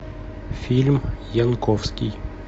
фильм янковский